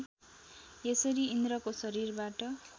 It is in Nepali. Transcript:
यसरी इन्द्रको शरीरबाट